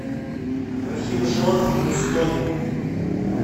рахимжон мустонин